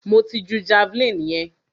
Mo ti ju javeline yẹn.